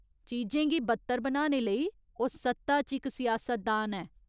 चीजें गी बद्तर बनाने लेई, ओह् सत्ता च इक सिआसतदान ऐ।